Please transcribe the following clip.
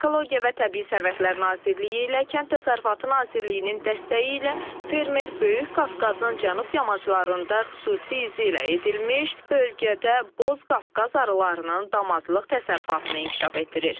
Ekologiya və Təbii Sərvətlər Nazirliyi ilə Kənd Təsərrüfatı Nazirliyinin dəstəyi ilə fermer Böyük Qafqazın cənub yamaclarında xüsusi iza ilə edilmiş bölgədə Boz Qafqaz arılarının damazlıq təsərrüfatını inkişaf etdirir.